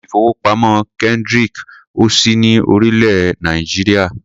Ilé-ìfowópamọ́ Kendric ò sí ní orílẹ̀-èè Nàìjíríà.